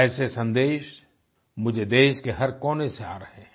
ऐसे संदेश मुझे देश के हर कोने से आ रहे हैं